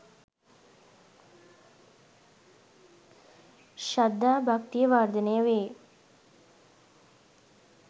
ශ්‍රද්ධා භක්තිය වර්ධනය වේ.